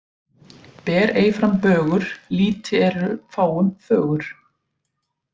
Ber ei fram bögur lýti eru fáum fögur.